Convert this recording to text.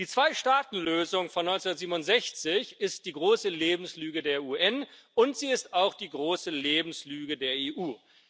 Die Zweistaatenlösung von 1967 ist die große Lebenslüge der UN, und sie ist auch die große Lebenslüge der EU.